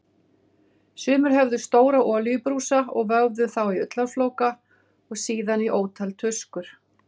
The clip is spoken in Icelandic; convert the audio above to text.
Sumir höfðu stóra olíubrúsa og vöfðu þá í ullarflóka og síðan í ótal tuskur.